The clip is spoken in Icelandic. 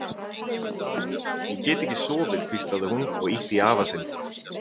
Afi, ég get ekki sofið hvíslaði hún og ýtti í afa sinn.